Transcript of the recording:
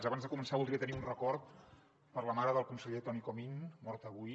abans de començar voldria tenir un record per a la mare del conseller toni comín morta avui